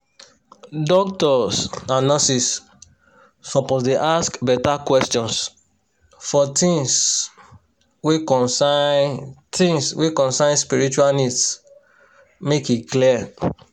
doctors and nurses suppose dey ask beta questions for tins wey concern tins wey concern spiritual needs make e clear